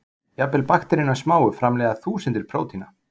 Jafnvel bakteríurnar smáu framleiða þúsundir prótína.